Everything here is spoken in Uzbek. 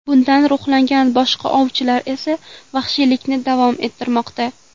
Bundan ruhlangan boshqa ovchilar esa vahshiylikni davom ettirmoqda.